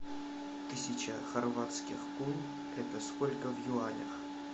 тысяча хорватских кун это сколько в юанях